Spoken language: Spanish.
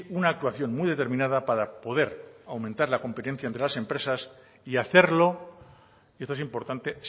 una actuación muy determinada para poder aumentar la competencia entre las empresas y hacerlo y esto es importante